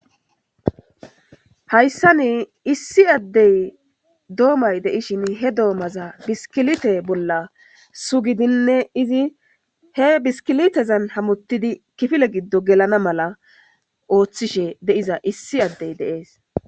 Hayssan issi addey dommay de'ishin he dommaza biskilitte bolla suggidi izi he biskiliteza hamottidi kifile giddon gelana oththishe de'iza issi adey de'ees.